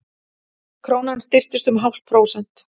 Krónan styrktist um hálft prósent